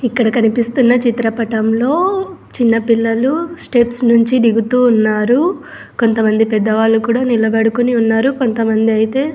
ఇక్కడ కనిపిస్తున్న చిత్రపటంలో చిన్న పిల్లలు స్టెప్స్ నుంచి దిగుతూ ఉన్నారు కొంతమంది పెద్దవాళ్ళు కూడా నిలబడుకొని ఉన్నారు కొంతమంది అయితే --